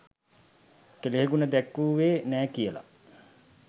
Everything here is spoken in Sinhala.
කෙළෙහිගුණ දැක්වූවේ නෑ කියලා.